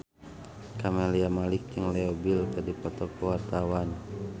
Camelia Malik jeung Leo Bill keur dipoto ku wartawan